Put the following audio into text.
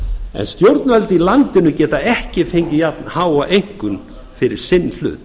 en stjórnvöld í landinu geta ekki fengið jafnháa einkunn fyrir sinn hlut